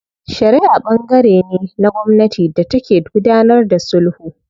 Shariʼa ɓangare ne na gwamnati da take gudanar da sulhu.